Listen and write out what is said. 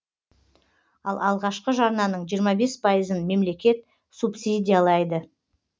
ал алғашқы жарнаның жиырма бес пайызын мемлекет субсидиялайды